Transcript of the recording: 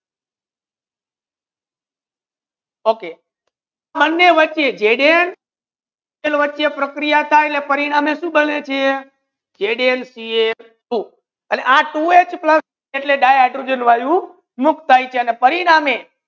Okay બને વચ્ચે Zn વચ્ચે પ્રક્રિયા થાય પરિણામે શુ બને છે Zn Cl Two આ Two H પ્લસ એટલે di hydrogen વાયુ મુક્ત થાય છે અને પરિણામે